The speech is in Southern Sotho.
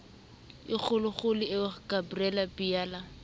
e kgolokgolo eo gabriel biala